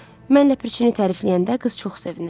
Mən ləpirçini tərifləyəndə qız çox sevinir.